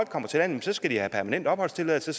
kommer til landet skal have permanent opholdstilladelse